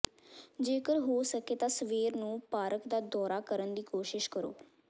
ਜੇਕਰ ਹੋ ਸਕੇ ਤਾਂ ਸਵੇਰ ਨੂੰ ਪਾਰਕ ਦਾ ਦੌਰਾ ਕਰਨ ਦੀ ਕੋਸ਼ਿਸ਼ ਕਰੋ